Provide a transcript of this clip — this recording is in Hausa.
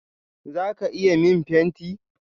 Zaka iya min fenti?